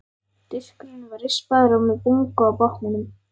Diskurinn var rispaður og með bungu á botninum.